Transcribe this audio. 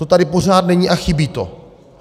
To tady pořád není a chybí to.